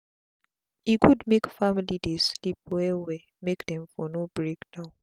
e good make family dey sleep well well make dem for no break down